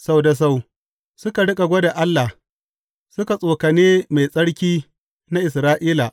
Sau da sau suka riƙa gwada Allah; suka tsokane Mai Tsarki na Isra’ila.